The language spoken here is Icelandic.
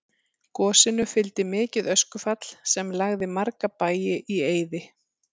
Gosinu fylgdi mikið öskufall sem lagði marga bæi í eyði.